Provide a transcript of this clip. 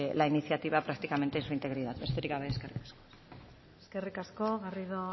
la iniciativa prácticamente en su integridad besterik gabe eskerrik asko eskerrik asko garrido